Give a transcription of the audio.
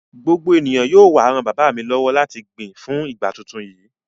Gbogbo ènìyàn yóò wá ran bàbá mi lọ́wọ́ láti gbin fún ìgbà tuntun yìí.